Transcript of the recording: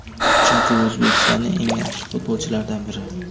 Chunki u O‘zbekistonning eng yaxshi futbolchilaridan biri.